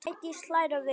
Sædís hlær við.